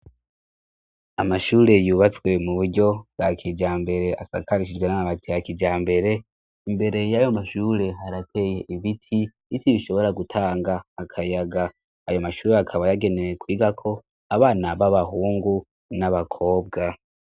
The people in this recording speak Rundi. Amashuri yubatswe mu buryo bwa kijambere asakarishijwe n'amabati ya kijambere; imbere y'ayo mashure harateye ibiti, ibiti bishobora gutanga akayaga. Ayo mashuri akaba yagenewe kwigako abana b'abahungu n'abakobwa.